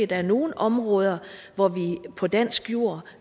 der er nogle områder hvor vi på dansk jord